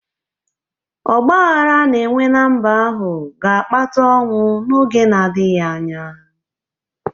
Ọgba aghara a na-enwe ná mba ahụ ga-akpata ọnwụ n’oge na-adịghị anya